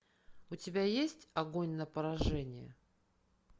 у тебя есть огонь на поражение